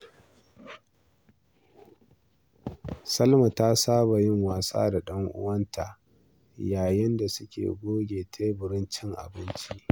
Salma ta saba da yin wasa da ɗan uwanta yayin da suke goge teburin cin abinci.